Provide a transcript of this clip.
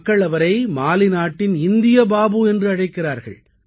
மக்கள் அவரை மாலி நாட்டின் இந்திய பாபு என்றும் அழைக்கிறார்கள்